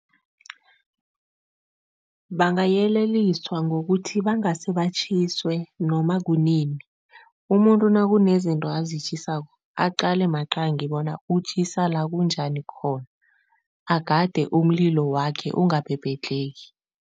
Bangayeleliswa ngokuthi, bangase batjhiswe noma kunini. Umuntu nakunezinto azitjhisako, aqale maqangi bona utjhisa la kunjani khona, agade umlilo wakhe ungabhebhedlheki.